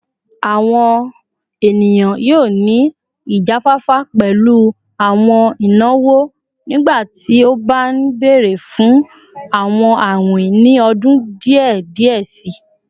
Awọn eniyan yoo ni ijafafa pẹlu awọn inawo nigbati o ba nbere fun awọn awin ni ọdun diẹ diẹ sii